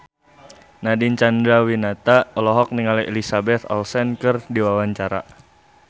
Nadine Chandrawinata olohok ningali Elizabeth Olsen keur diwawancara